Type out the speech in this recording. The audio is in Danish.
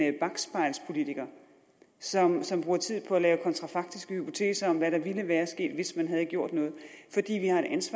en bakspejlspolitiker som som bruger tid på at lave kontrafaktiske hypoteser om hvad der ville være sket hvis man havde gjort noget